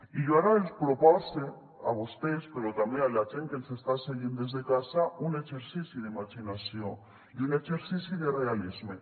i jo ara els propose a vostès però també a la gent que ens està seguint des de casa un exercici d’imaginació i un exercici de realisme